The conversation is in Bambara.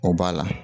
O b'a la